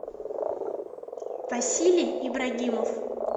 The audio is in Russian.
василий ибрагимов